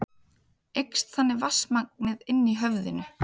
Eykst þannig vatnsmagnið inni í höfðinu.